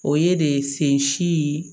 O ye de sen si ye